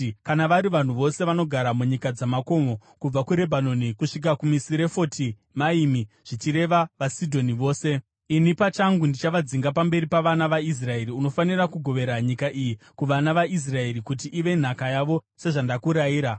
“Kana vari vanhu vose vanogara munyika dzamakomo kubva kuRebhanoni kusvika kuMisirefoti Maimi, zvichireva vaSidhoni vose, ini pachangu ndichavadzinga pamberi pavana vaIsraeri. Unofanira kugovera nyika iyi kuvana vaIsraeri kuti ive nhaka yavo sezvandakurayira,